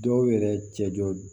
Dɔw yɛrɛ cɛ jɔ